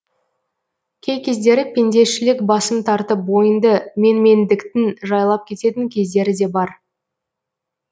кей кездері пендешілік басым тартып бойыңды менмендіктің жайлап кететін кездері де бар